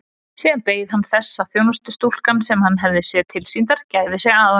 Síðan beið hann þess að þjónustustúlkan sem hann hafði séð tilsýndar gæfi sig að honum.